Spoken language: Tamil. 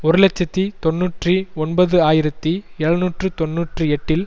ஒரு இலட்சத்தி தொன்னூற்றி ஒன்பது ஆயிரத்தி எழுநூற்று தொன்னூற்றி எட்டில்